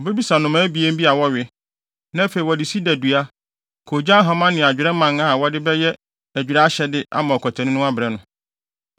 obebisa nnomaa abien bi a wɔwe, na afei wɔde sida dua, koogyan hama ne adwerɛ mman a wɔde bɛyɛ ahodwira ahyɛde ama ɔkwatani no abrɛ no.